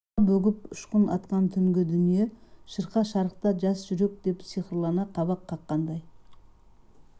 нұрға бөгіп ұшқын атқан түнгі дүние шырқа шарықта жас жүрек деп сиқырлана қабақ қаққандай